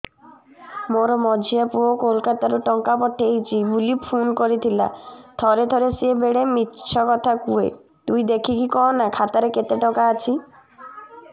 ମୋର ମଝିଆ ପୁଅ କୋଲକତା ରୁ ଟଙ୍କା ପଠେଇଚି ବୁଲି ଫୁନ କରିଥିଲା ଥରେ ଥରେ ସିଏ ବେଡେ ମିଛ କଥା କୁହେ ତୁଇ ଦେଖିକି କହନା ଖାତାରେ କେତ ଟଙ୍କା ଅଛି